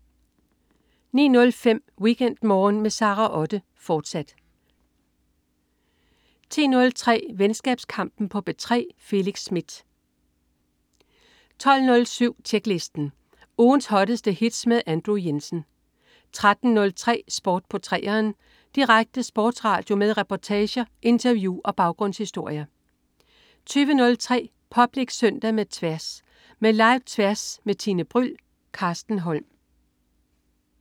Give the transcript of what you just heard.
09.05 WeekendMorgen med Sara Otte, fortsat 10.03 Venskabskampen på P3. Felix Smith 12.07 Tjeklisten. Ugens hotteste hits med Andrew Jensen 13.03 Sport på 3'eren. Direkte sportsradio med reportager, interview og baggrundshistorier 20.03 Public Søndag med Tværs. Med Live-Tværs med Tine Bryld. Carsten Holm